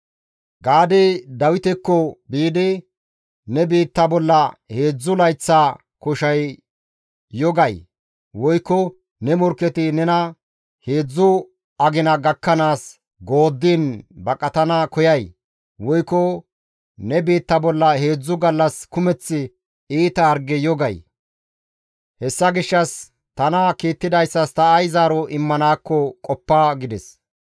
Gaadey Dawitekko biidi, «Ne biitta bolla heedzdzu layththa koshay yo gay? Woykko ne morkketi nena heedzdzu agina gakkanaas gooddiin baqatana koyay? Woykko ne biitta bolla heedzdzu gallas kumeth iita hargey yo gay? Hessa gishshas tana kiittidayssas ta ay zaaro immanaakko qoppa» gides.